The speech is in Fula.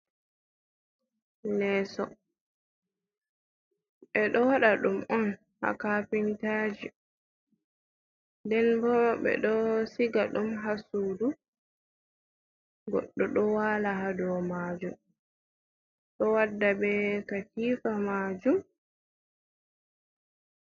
Leeso, ɓe ɗo waɗa ɗum on haa kapintaji nden boo noo ɓe ɗo siga ɗum haa suudu goɗɗo ɗo waala haa dow maajum ɗo warda bee katiifa maajum